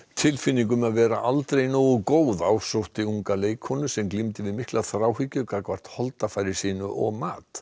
tilfinning um að vera aldrei nógu góð ásótti unga leikkonu sem glímdi við mikla þráhyggju gagnvart holdafari sínu og mat